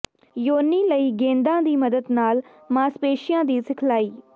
ਯੋਨੀ ਲਈ ਗੇਂਦਾਂ ਦੀ ਮਦਦ ਨਾਲ ਮਾਸਪੇਸ਼ੀਆਂ ਦੀ ਸਿਖਲਾਈ